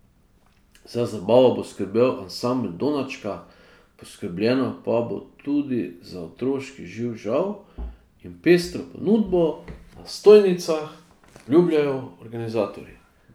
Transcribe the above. Za zabavo bo skrbel ansambel Donačka, poskrbljeno pa bo tudi za otroški živ žav in pestro ponudbo na stojnicah, obljubljajo organizatorji.